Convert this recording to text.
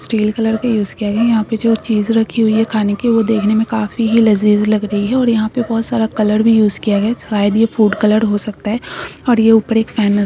Steel colour का use किआ गआ हे। यहाँ पर जो चीज रखी हुई है खाने की वह देखने में काफी ही लजीज लग रही है। और यहाँ पर बहुत सारा कलर भी इउज किया गया शायद यह फूड कलर हो सकता है। और यह ऊपर एक फेन नज --